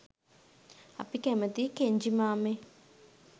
අපි කැමතියි කෙන්ජි මාමෙ